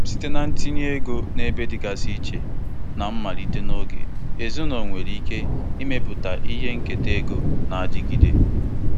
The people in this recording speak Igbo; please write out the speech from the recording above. O ketara ntinye ego pọtụfoliyo nna nna ochie ya, nke ego ya karịrị nde dọla ise ugbu a.